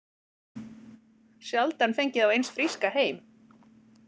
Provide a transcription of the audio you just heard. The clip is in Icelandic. Sjaldan fengið þá eins fríska heim